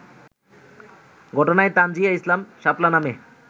ঘটনায় তানজীয়া ইসলাম শাপলা নামে